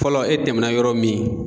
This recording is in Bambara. Fɔlɔ e tɛmɛna yɔrɔ min